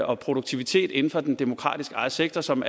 og produktivitet inden for den demokratisk ejede sektor som